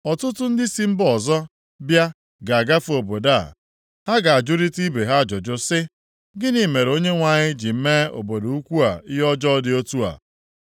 “Ọtụtụ ndị si mba ọzọ bịa ga-agafe obodo a. Ha ga-ajụrịta ibe ha ajụjụ sị, ‘Gịnị mere Onyenwe anyị ji mee obodo ukwuu a ihe ọjọọ dị otu a?’